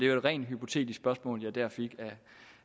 et rent hypotetisk spørgsmål jeg der fik